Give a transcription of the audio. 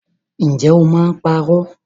Ǹjẹ́ o máa ń parọ́?